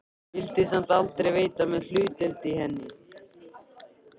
Vildi samt aldrei veita mér hlutdeild í henni.